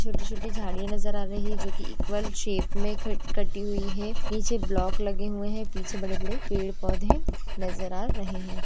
छोटी छोटी झाडीया नज़र आ रहे है जो की इक्वल शेप मे क कटी हुई है नीचे ब्लॉक लगे हुए है पीछे बड़े-बड़े पेड़-पौधे नजर आ रहे है।